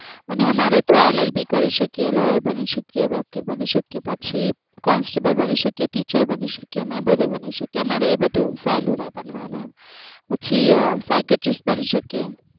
અને આમરે તએ LLB કરી શકી વકીલ બની શકીએ પછ કોન્સ્ટેબલે બની શકીએ teacher બની શકીએ ને એ બની શકીએ અમારે એ બધુ સહલું રે તમારે પછ sarcastic બની શકીએ